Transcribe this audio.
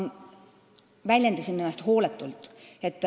Ma väljendasin ennast hooletult.